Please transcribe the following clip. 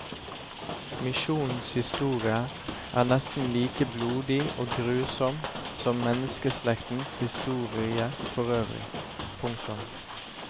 Misjonens historie er nesten like blodig og grusom som menneskeslektens historie forøvrig. punktum